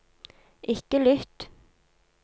ikke lytt